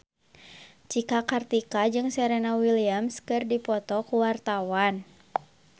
Cika Kartika jeung Serena Williams keur dipoto ku wartawan